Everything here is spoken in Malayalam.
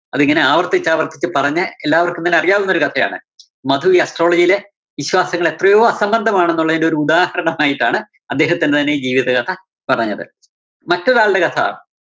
അതിങ്ങനെ ആവര്‍ത്തിച്ചാവര്‍ത്തിച്ച് പറഞ്ഞ്‌ എല്ലാവര്‍ക്കും തന്നെ അറിയാവുന്നൊരു കഥയാണ്‌. മധു ഈ astrology യിലെ വിശ്വാസികള്‍ എത്രയോ അസംബന്ധമാണെന്നുള്ളതിന്റെ ഒരു ഉദാഹരണമായിട്ടാണ് അദ്ദേഹത്തിന്റെ തന്നെ ഈ ജീവിത കഥ പറഞ്ഞത്. മറ്റൊരാള്‍ടെ കഥ